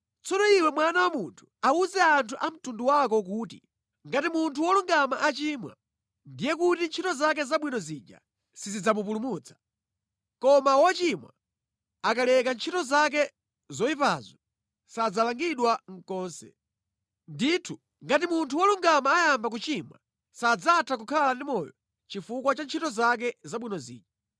“Tsono iwe mwana wa munthu, awuze anthu a mtundu wako kuti, ‘Ngati munthu wolungama achimwa, ndiye kuti ntchito zake zabwino zija sizidzamupulutsa. Koma wochimwa akaleka ntchito zake zoyipazo, sadzalangidwa konse. Ndithu ngati munthu wolungama ayamba kuchimwa sadzatha kukhala ndi moyo chifukwa cha ntchito zake zabwino zija.’